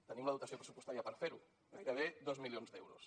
tenim la dotació pressupostària per fer ho gairebé dos milions d’euros